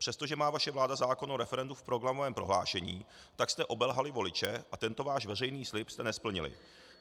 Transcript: Přestože má vaše vláda zákon o referendu v programovém prohlášení, tak jste obelhali voliče a tento váš veřejný slib jste nesplnili.